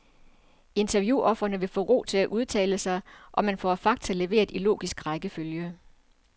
Interviewofrene får ro til at udtale sig, og man får fakta leveret i logisk rækkefølge.